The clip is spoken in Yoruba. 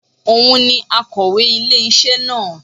Òun ni akọ̀wé ilé isé na